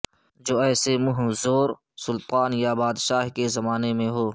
جو ایسے منہ زور سلطان یا بادشاہ کے زمان میں ہو